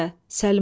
Səlma.